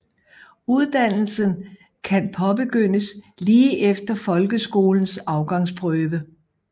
Uddannelsen kan påbegyndes lige efter Folkeskolens Afgangsprøve